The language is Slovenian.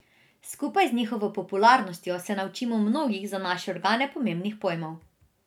Skupaj z njihovo popularnostjo se naučimo mnogih za naše organe pomembnih pojmov.